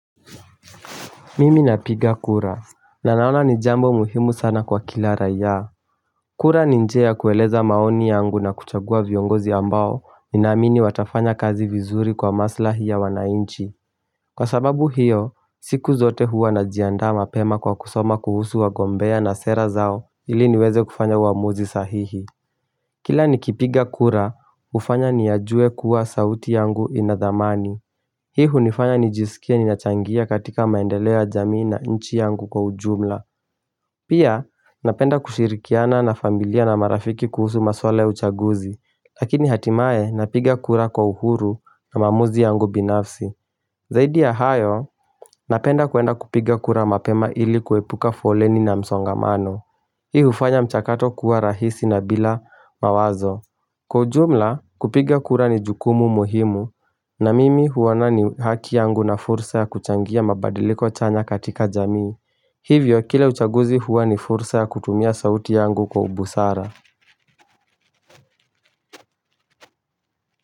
Mimi na piga kura, na naona ni jambo muhimu sana kwa kila raia. Kura ni njia kueleza maoni yangu na kuchagua viongozi ambao, ni naamini watafanya kazi vizuri kwa maslahi ya wanainchi. Kwa sababu hiyo, siku zote huwa na jiandaa mapema kwa kusoma kuhusu wagombea na sera zao, ili niweze kufanya uamuzi sahihi. Kila ni kipiga kura, hufanya ni yajue kuwa sauti yangu inadhamani. Hii hunifanya nijisikia ni nachangia katika maendeleo ya jamii na nchi yangu kwa ujumla Pia napenda kushirikiana na familia na marafiki kuhusu maswala ya uchaguzi Lakini hatimae napiga kura kwa uhuru na maamuzi yangu binafsi Zaidi ya hayo napenda kwenda kupiga kura mapema ili kuepuka foleni na msongamano Hii hufanya mchakato kuwa rahisi na bila mawazo Kwa ujumla kupiga kura ni jukumu muhimu na mimi huoana ni haki yangu na fursa ya kuchangia mabadiliko chanya katika jamii. Hivyo kila uchaguzi huwa ni fursa ya kutumia sauti yangu kwa ubusara.